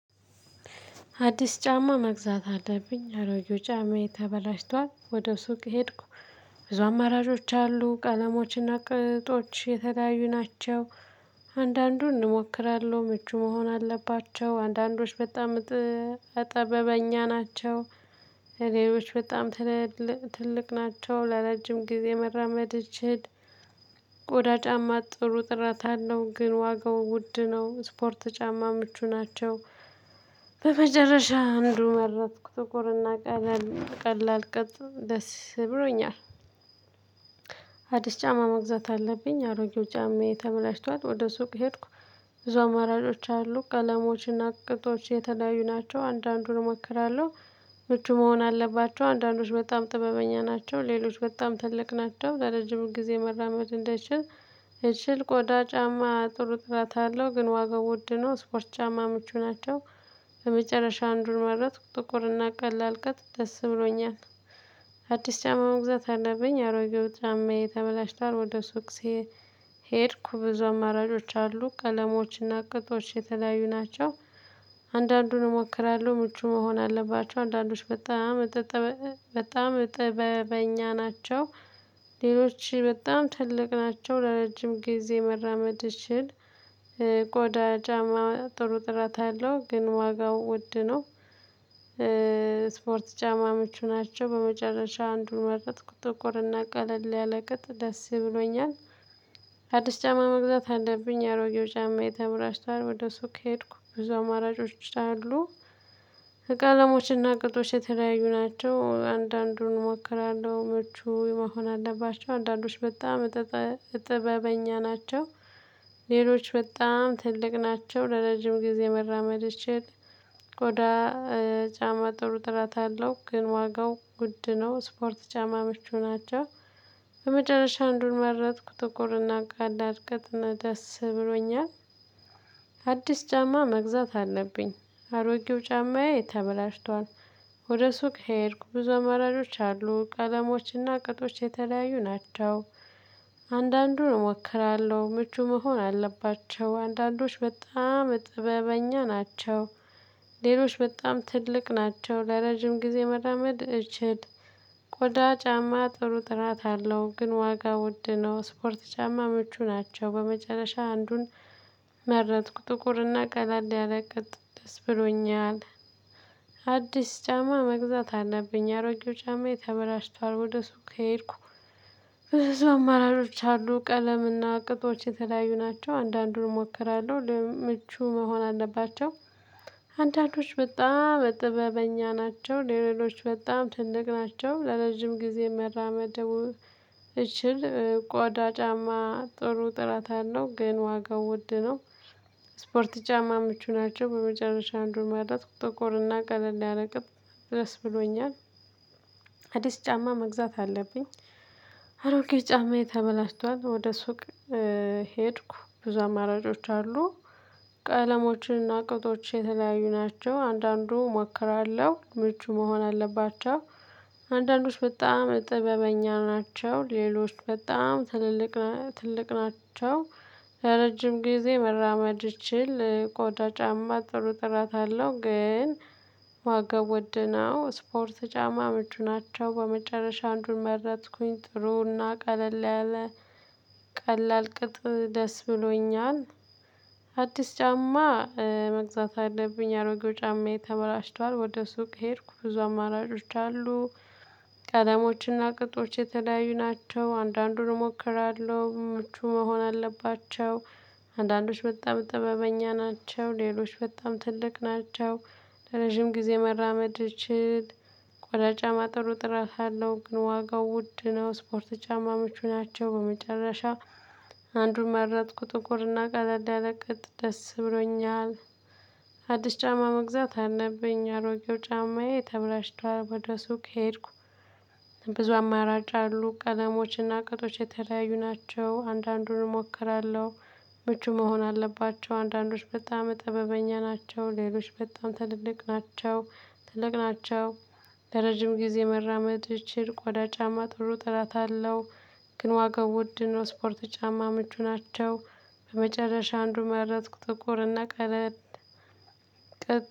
አዲስ ጫማ መግዛት አለብኝ አሮጌ ጫማዬ ተበላሽቷል ወደ ሱቅ ሄድኩ። ብዙ አማራጮች አሉ ቀለሞችና ቅጦች የተለያዩ ናቸው። አንዳንዱን እሞክራለሁ ምቹ መሆን አለባቸው አንዳንዶች በጣም ጠበበኛ ናቸው። እኔዎች በጣም ትልቅ ትልቅ ናቸው ላረጅም ጊዜ መራመድ እችል። ቆዳ ጫማ ጥሩ ጥራት አለው ግን ዋጋው ውድ ነው። ስፖርት ጫማ ምቹ ናቸው። በመጨረሻ አንዱ መረጥኩ ጥቁርና ቀላል ቀላል ቀጥ ደስ ብሎኛል። አዲስ ጫማ መግዛት አለብኝ አሮጌው ጫማዬ ተበላሽቷት ወደ ሱቅ ሄድኩ። ብዙ አማራጮች አሉ ቀለሞችና ቅጦች የተለያዩ ናቸው። አንዳንዱን እሞክራለሁ ምቹ መሆን አለባቸው አንዳንዶች በጣም ጥበበኛ ናቸው። ሌሎች በጣም ትልቅ ናቸው ለረጅም ጊዜ መራመድ እንዳይችል። እችል ቆዳ ጫማ ጥሩ ጥራት አለው ግን ዋጋው ውድ ነው። ስፖርት ጫማ ምቹ ናቸው። በመጨረሻ አንዱን መረጥኩ ጥቁርና ቀላል ቅጥ ደስ ብሎኛል። አዲስ ጫማ መግዛት አለብኝ አሮጌው ጫማዬ ተበላሽቷል ወደ ሱቅ። ሄድኩ ብዙ አማራጮች አሉ ቀለሞችና ቅጥቶች የተለያዩ ናቸው። አንዳንዱን እሞክራለሁ ምቹ መሆን አለባቸው አንዳንዶች በጣም በጣም ጥበበኛ ናቸው። ሌሎች በጣም ትልቅ ናቸው ለረጅም ጊዜ መራመድ እችል። ቆዳ ጫማ ጥሩ ጥራት አለው ግን ዋጋው ውድ ነው። ስፖርት ጫማ ምቹ ናቸው በመጨረሻ አንዱን መረጥኩ ጥቁርና ቀለል ያለ ቅጥ ደስ ብሎኛል። አዲስ ጫማ መግዛት አለብኝ ያሮጌው ጫማ የተበላሽቷል ወደ ሱቅ ከሄድኩ ብዙ አማራጮች አሉ። ቀለሞችና ቅጦች የተለያዩ ናቸው አንዳንዱን እሞክራለሁ ምቹ መሆን አለባቸው አንዳንዶች በጣም እጥበበኛ ናቸው። ሌሎች በጣም ትልቅ ናቸው ለረጅም ጊዜ መራመድ ይችል። ቆዳ ጫማ ጥሩ ጥረት አለው ግን ዋጋው ውድ ነው። ስፖርት ጫማ ምቹ ናቸው። በመጨረሻ እንዱን መረጥኩ ጥቁርና ቀላል ቅጥ እና ደስ ብሎኛል። አዲስ ጫማ መግዛት አለብኝ አሮጌው ጫማዬ ተበላሽቷል። ወደ ሱቅ ሄድኩ ብዙ አማራጮች አሉ ቀለሞችና ቅጦች የተለያዩ ናቸው። አንዳንዱን እሞክራለሁ ምቹ መሆን አለባቸው አንዳንዶች በጣም እጥበበኛ ናቸው። ሌሎች በጣም ትልቅ ናቸው ለረጅም ጊዜ መራመድ እችል። ቆዳ ጫማ ጥሩ ጥራት አለው ግን ዋጋ ውድ ነው። ስፖርት ጫማ ምቹ ናቸው። በመጨረሻ አንዱን መረጥኩ ጥቁርና ቀለል ያለቅጥ ደስ ብሎኛል። አዲስ ጫማ መግዛት አለብኝ አሮጌው ጫማዬ ተበላሽቷል። ወደ ሱቅ። ከሄድኩ ብዙ አማራጮች አሉ ቀለምና ቅጦች የተለያዩ ናቸው አንዳንዱን እሞክራለሁ ለምቹ መሆን አለባቸው። አንዳንዶች በጣም እጥበበኛ ናቸው ሌሎች በጣም ትልቅ ናቸው ለረጅም ጊዜ መራመድ። እችል ቆዳ ጫማ ጥሩ ጥራት አለው ግን ዋጋው ውድ ነው። ስፖርት ጫማ ምቹ ናቸው። በመጨረሻ አንዱን መረጥኩ ጥቁር እና ቀለል ያረቅጥ ድስ ብሎኛል። አዲስ ጫማ መግዛት አለብኝ። አሮጌ ጫማዬ ተበላሽቷል ወደ ሱቅ። ሄድኩ ብዙ አማራጮች አሉ። ቀለሞችንና ቅጦች የተለያዩ ናቸው አንዳንዱ እሞክራለሁ ምቹ መሆን አለባቸው። አንዳንዶች በጣም ጥበበኛ ናቸው ሌሎች በጣም ትልልቅ ትልቅ ናቸው። ለረጅም ጊዜ መራመድ እችል ቆዳ ጫማ ጥሩ ጥራት አለው ግን። ዋጋው ውድነው ስፖርት ጫማ ምቹ ናቸው። በመጨረሻ አንዱን መረጥኩኝ ጥሩና ቀለል ያለ ቀላል ቅጥ ደስ ብሎኛል። አዲስ ጫማ መግዛት አለብኝ አሮጌው ጫማዬ ተበላሽቷል ወደ ሱቅ ሄድኩ ብዙ አማራጮች አሉ። ቀለሞችና ቅጦች የተለያዩ ናቸው አንዳንዱን እሞክራለሁ ምቹ መሆን አለባቸው። አንዳንዶች በጣም ጥበበኛ ናቸው ሌሎች በጣም ትልቅ ናቸው። ለረጅም ጊዜ መራመድ ይችል። ቆዳ ጫማ ጥሩ ጥራት አለው ግን ዋጋው ውድ ነው። ስፖርት ጫማ ምቹ ናቸው። በመጨረሻ አንዱን መረጥኩ ጥቁርና ቀለል ያለቅጥ ደስ ብሎኛል። አዲስ ጫማ መግዛት አለብኝ አሮጌው ጫማዬ ተብላሽቷል ወደ ሱቅ ሄድኩ። ብዙ አማራጭ አሉ ቀለሞችና ቅጦች የተለያዩ ናቸው። አንዳንዱን እሞክራለሁ ምቹ መሆን አለባቸው አንዳንዶች በጣም እጥበበኛ ናቸው። ሌሎች በጣም ትልልቅ ናቸው ትልቅ ናቸው። ለረጅም ጊዜ መራመድ እችል ቆዳ ጫማ ጥሩ ጠራት አለው። ግን ዋጋው ውድ ነው። ስፖርት ጫማ ምቹ ናቸው። በመጨረሻ አንዱ መረጥኩ ጥቁርና ቀለል